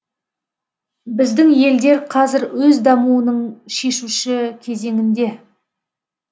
біздің елдер қазір өз дамуының шешуші кезеңінде